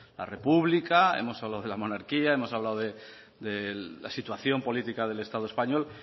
la república hemos hablado de la monarquía hemos hablado de la situación política del estado español